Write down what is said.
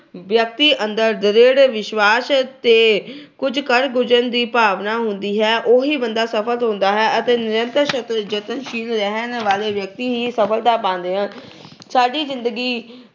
ਵਿਅਕਤੀ ਅੰਦਰ ਦ੍ਰਿੜ ਵਿਸ਼ਵਾਸ ਤੇ ਕੁਝ ਕਰ ਗੁਜਰਨ ਦੀ ਭਾਵਨਾ ਹੁੰਦੀ ਹੈ। ਉਹੀ ਬੰਦਾ ਸਫਲ ਹੁੰਦਾ ਹੈ ਅਤੇ ਨਿਰੰਤਰ ਯਤਨਸ਼ੀਲ ਰਹਿਣ ਵਾਲੇ ਵਿਅਕਤੀ ਹੀ ਸਫਲਤਾ ਪਾਉਂਦੇ ਹਨ। ਸਾਡੀ ਜਿੰਦਗੀ